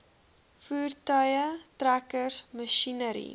voertuie trekkers masjinerie